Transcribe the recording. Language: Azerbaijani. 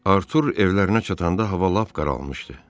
Artur evlərinə çatanda hava lap qaralmışdı.